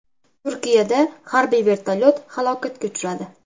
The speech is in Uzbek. Turkiyada harbiy vertolyot halokatga uchradi.